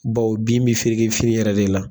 Bawo bin bɛ fereke fini yɛrɛ de la